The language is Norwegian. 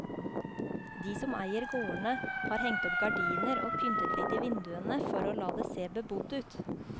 De som eier gårdene, har hengt opp gardiner og pyntet litt i vinduene for å la det se bebodd ut.